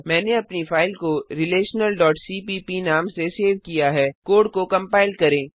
मैंने अपनी फाइल को relationalसीपीप नाम से सेव किया है कोड को कंपाइल करें